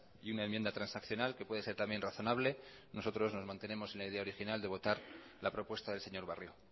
y una enmienda transaccional que puede ser también razonable nosotros nos mantenemos en la idea original de votar la propuesta del señor barrio